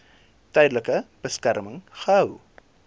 tydelike beskerming gehou